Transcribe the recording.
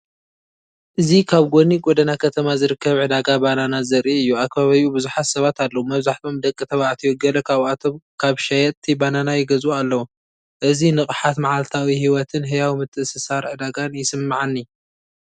እዚ ኣብ ጎኒ ጎደና ከተማ ዝርከብ ዕዳጋ ባናና ዘርኢ እዩ። ኣብ ከባቢኡ ብዙሓት ሰባት ኣለዉ። መብዛሕትኦም ደቂ ተባዕትዮ፤ ገለ ካብኣቶም ካብ ሸየጥቲ ባናና ይገዝኡ ኣለዉ። እዚ ንቕሓት መዓልታዊ ህይወትን ህያው ምትእስሳር ዕዳጋን ይስምዓኒ።